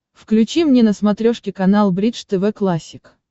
включи мне на смотрешке канал бридж тв классик